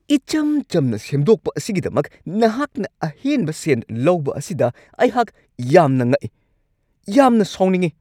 ꯏꯆꯝ-ꯆꯝꯅ ꯁꯦꯝꯗꯣꯛꯄ ꯑꯁꯤꯒꯤꯗꯃꯛ ꯅꯍꯥꯛꯅ ꯑꯍꯦꯟꯕ ꯁꯦꯟ ꯂꯧꯕ ꯑꯁꯤꯗ ꯑꯩꯍꯥꯛ ꯌꯥꯝꯅ ꯉꯛꯏ ꯫ ꯌꯥꯝꯅ ꯁꯥꯎꯅꯤꯡꯉꯤ ꯫